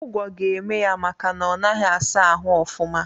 Ụgwo ga-eme ya makana onaghi asa ahụ ọfuma.